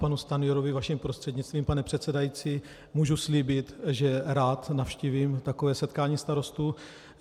Panu Stanjurovi vaším prostřednictvím, pane předsedající, můžu slíbit, že rád navštívím takové setkání starostů.